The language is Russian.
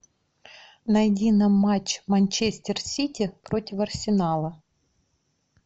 найди нам матч манчестер сити против арсенала